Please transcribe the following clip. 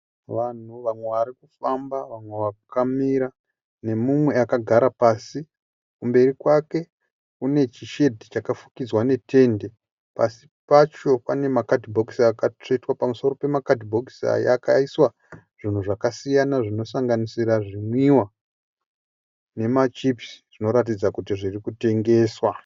Vanhu vamwe varikufamba vamwe vakamira nemumwe akagara pasi. Kumberi kwake kune chishedhi chakafukidzwa netende. Pasi pacho panemakadhibhokisi akatsvetwa. Pamusoro pemakadhibhokisi aya akaiswa zvunhu zvakasiyana zvinosanganisira zvimwiwa nemachipisi zvinoratidza kuti zvirikutengeswa.